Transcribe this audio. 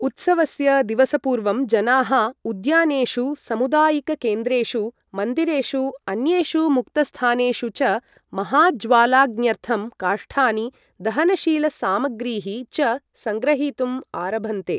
उत्सवस्य दिवसपूर्वं जनाः उद्यानेषु, सामुदायिककेन्द्रेषु, मन्दिरेषु, अन्येषु मुक्तस्थानेषु च महाज्वालाग्न्यर्थं काष्ठानि, दहनशीलसामग्रीः च सङ्ग्रहीतुम् आरभन्ते।